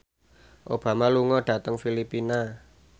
Obama lunga dhateng Filipina